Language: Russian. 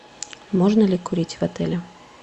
можно ли курить в отеле